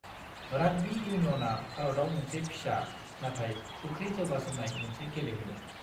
Rugby इउनियनआ भारतआव मोनसे फिसा, नाथाय गोख्रै जौगासारनाय मोनसे गेलेमु।